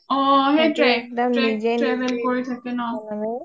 অ অ সেইটোয়ে সিহতে চব নিজে নিজে travel কৰি থাকে ন